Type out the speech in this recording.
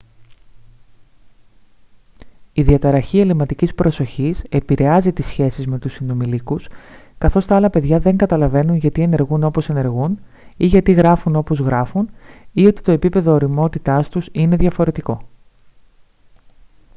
η διαταραχή ελλειμματικής προσοχής επηρεάζει τις σχέσεις με τους συνομηλίκους καθώς τα άλλα παιδιά δεν καταλαβαίνουν γιατί ενεργούν όπως ενεργούν ή γιατί γράφουν όπως γράφουν ή ότι το επίπεδο ωριμότητάς τους είναι διαφορετικό